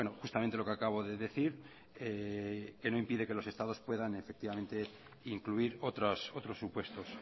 justamente lo que acabo de decir que no impide que los estados puedan incluir otros supuestos